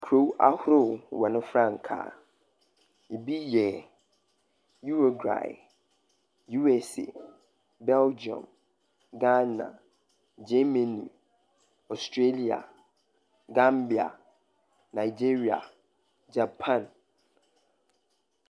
Kurow ahorow hɔn ne frankaa. Ebi yɛ Uruguay, USA, Belgium, Ghana, Germany, Australia, Gambia, Nigeria, Japan.